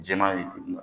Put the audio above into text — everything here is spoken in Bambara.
Jɛman ni duguma